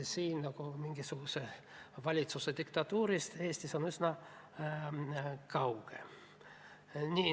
Nii et mingisugusest valitsuse diktatuurist on Eesti üsna kaugel.